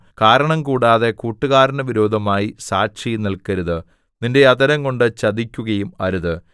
കാരണംകൂടാതെ കൂട്ടുകാരന് വിരോധമായി സാക്ഷിനില്‍ക്കരുത് നിന്റെ അധരം കൊണ്ട് ചതിക്കുകയും അരുത്